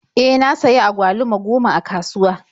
E, na sayi agwaluma goma a kasuwa.